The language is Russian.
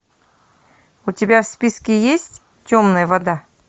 у тебя в списке есть темная вода